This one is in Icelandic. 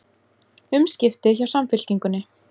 Umskipti hjá Samfylkingunni